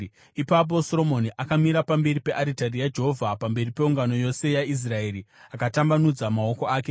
Ipapo Soromoni akamira pamberi pearitari yaJehovha pamberi peungano yose yaIsraeri akatambanudza maoko ake.